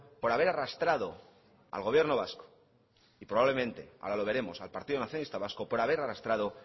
por haber arrastrado al gobierno vasco y probablemente ahora lo veremos al partido nacionalista vasco por haber arrastrado